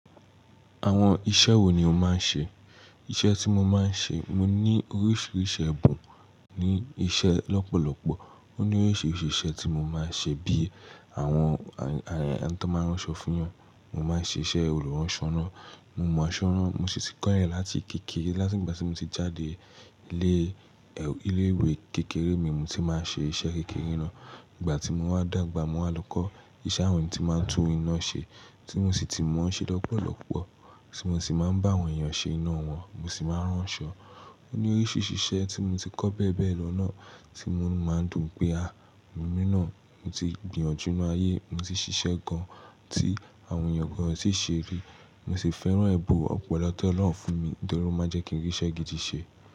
Àwọn iṣẹ́ wo ni o máa ń ṣe? Iṣẹ́ tí mo máa ń ṣe, mo ní oríṣiríṣi ẹ̀bùn ní iṣẹ́ lọ́pọ̀lọ́pọ̀. Ó ní oríṣiríṣi ìṣe tí mo máa ń ṣe bí i àwọn ẹni tó máa ń ránṣọ fún 'yan. Mo máa ń ṣe iṣẹ́ olùránṣọ, mo mọ aṣọ rán, mo sì ti kọ́rẹ̀ láti kékeré. Láti gba tí mo ti jáde ilé, ilé ìwé kékeré mi mo ti máa ń ṣe iṣẹ́ kékeré ná. Ìgbà tí mo wá dàgbà mo wá lọ́kọ́ iṣẹ́ àwọn tí máa ń tún iná ṣe, tí mo sì ti mọ̀ ọ́n ṣe lọ́pọ̀lọ́pọ̀, tí mo sì máa ń bá àwọn èèyàn ṣe iná wọn, mo sì máa ń ránṣọ. Ó ní oríṣi ìṣe tí mo ti kọ́ bẹ́ẹ̀bẹ́ẹ̀ lọ náà tí mo máa ń dùn pé a, èmi náà mo ti gbìyànjú inú ayé, mo sì ṣiṣẹ́ gan tí àwọn èèyàn gan ò tíì ṣe rí. Mo sì fẹ́ràn ẹ̀bùn ọ̀pọ̀lọpọ̀ tí Ọlọ́run fún mi, nítorí ó má ń jẹ́ kí n rí iṣẹ́ gidi ṣe.